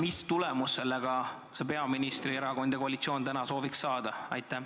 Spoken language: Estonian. Mis tulemust peaministri erakond ja kogu koalitsioon soovib saada?